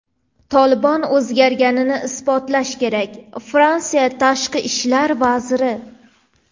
"Tolibon" o‘zgarganini isbotlashi kerak — Fransiya tashqi ishlar vaziri.